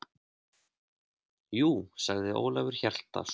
Jú, sagði Ólafur Hjaltason.